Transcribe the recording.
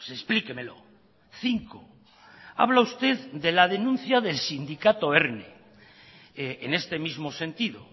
explíquemelo cinco habla usted de la denuncia del sindicado erne en este mismo sentido